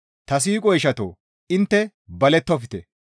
Ta siiqo ishatoo! Intte balettofte.